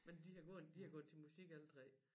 Men de har gået de har gået til musik alle tre